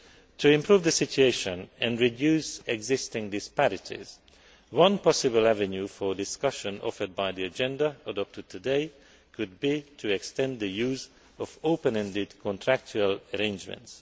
To improve the situation and reduce existing disparities, one possible avenue for discussion offered by the agenda adopted today could be to extend the use of open ended contractual arrangements.